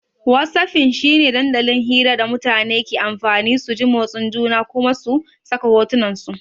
Whatsapping shi ne dandalin hira da mutane ke amfani su ji motsin juna Kuma su saka hotunansu.